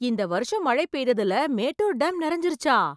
இந்த வருஷம் மழை பெய்ததுல மேட்டூர் டேம் நிறைஞ்சிருச்சா!